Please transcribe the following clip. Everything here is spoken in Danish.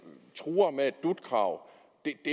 truer med et dut krav